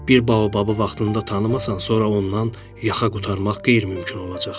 Bir baobabı vaxtında tanımasan, sonra ondan yaxa qurtarmaq qeyri-mümkün olacaq.